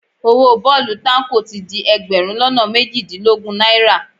Owó bọ́ọ̀lù táǹkò ti di ẹgbẹ̀rún lọ́nà méjìdínlógún náírà